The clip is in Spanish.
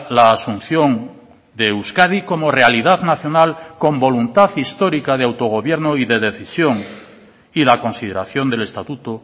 la asunción de euskadi como realidad nacional con voluntad histórica de autogobierno y de decisión y la consideración del estatuto